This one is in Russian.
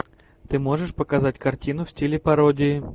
ты можешь показать картину в стиле пародии